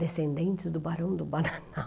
Descendentes do Barão do Bananal.